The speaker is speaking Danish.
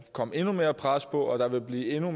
komme endnu mere pres på og der vil blive endnu